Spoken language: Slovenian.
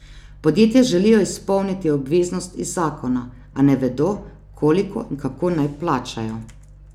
Podjetja želijo izpolniti obveznost iz zakona, a ne vedo, koliko in kako naj plačajo.